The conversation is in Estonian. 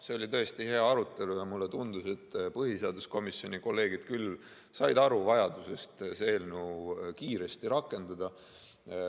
See oli tõesti hea arutelu ja mulle tundus, et põhiseaduskomisjoni kolleegid küll said aru vajadusest seda eelnõu kiiresti rakendada.